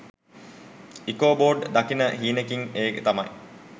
Ichabod දකින හීනෙකින් ඒ තමයි